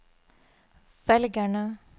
velgerne